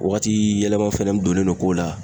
O waati yɛlɛma fɛnɛ donnen don ko la.